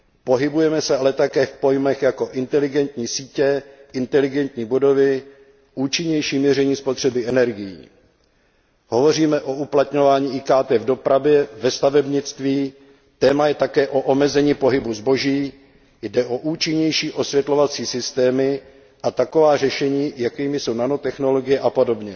Pohybujeme se ale také v pojmech jako inteligentní sítě, inteligentní budovy, účinnější měření spotřeby energií. Hovoříme o uplatňování IKT v dopravě, ve stavebnictví, téma je také o omezení pohybu zboží, jde o účinnější osvětlovací systémy a taková řešení, jakými jsou nanotechnologie apod.